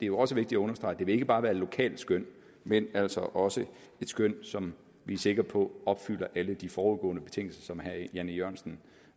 jo også vigtigt at understrege ikke bare vil være et lokalt skøn men altså også et skøn som vi er sikre på opfylder alle de foregående betingelser som herre jan e jørgensen